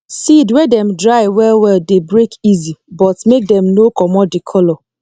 seed wey dem dry well well dey break easy but make dem no commot the color